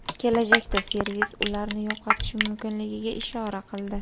Kelajakda servis ularni yo‘qotishi mumkinligiga ishora qildi.